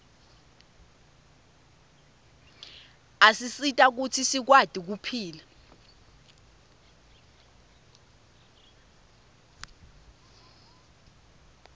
asisita kutsi sikwati kuphila